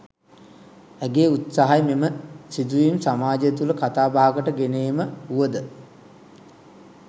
ඇගේ උත්සාහය මෙම සිදුවීම් සමාජය තුළ කතාබහකට ගෙන ඒම වුව ද